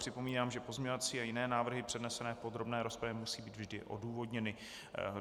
Připomínám, že pozměňovací a jiné návrhy přednesené v podrobné rozpravě musí být vždy odůvodněny.